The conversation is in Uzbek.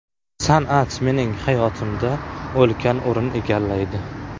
San’at mening hayotimda ulkan o‘rin egallaydi.